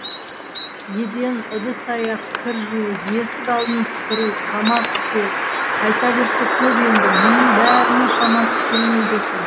еден ыдыс аяқ кір жуу есік алдын сыпыру тамақ істеу айта берсе көп енді мұның бәріне шамасы келмейді екен